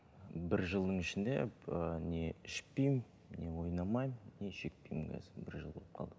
бір жылдың ішінде не ішпеймін не ойнамаймын не шекпеймін қазір бір жыл болып қалды